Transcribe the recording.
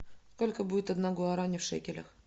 сколько будет одна гуарани в шекелях